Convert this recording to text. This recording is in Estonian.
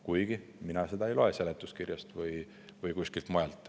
Kuigi mina seda välja ei loe seletuskirjast või kuskilt mujalt.